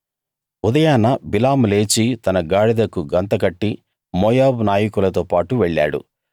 ఉదయాన బిలాము లేచి తన గాడిదకు గంత కట్టి మోయాబు నాయకులతోపాటు వెళ్ళాడు